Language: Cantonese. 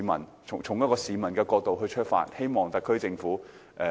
我是從一名市民的角度出發，希望特區政府審慎立法。